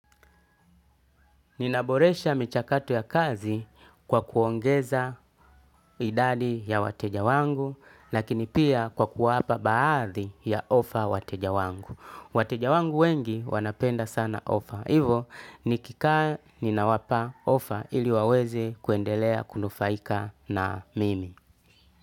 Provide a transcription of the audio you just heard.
Ninaboresha michakato ya kazi kwa kuongeza idadi ya wateja wangu, lakini pia kwa kuwapa baadhi ya ofa wateja wangu. Wateja wangu wengi wanapenda sana ofa. Hivo nikikaa ninawapa ofa ili waweze kuendelea kunufaika na mimi.